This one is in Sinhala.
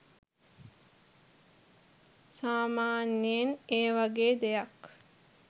සාමාන්‍යයෙන් ඒ වගේ දෙයක්